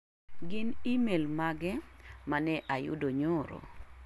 Gin imel mage mane ayudo nyoro?